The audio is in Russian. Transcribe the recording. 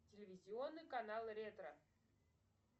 телевизионный канал ретро